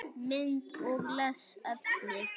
Mynd og lesefni á netinu